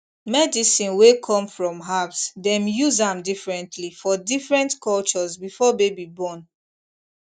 medicine wey come from herbs dem use am differently for different cultures before baby born